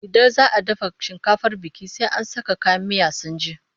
Idan za a dafa shinkafar biki, sai an saka kayan miya sun ji.